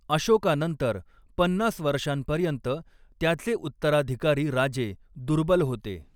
अशोकानंतर पन्नास वर्षांपर्यंत त्याचे उत्तराधिकारी राजे दुर्बल होते.